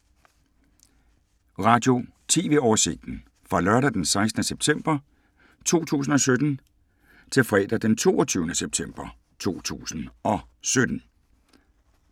Radio/TV oversigt fra lørdag d. 16. september 2017 til fredag d. 22. september 2017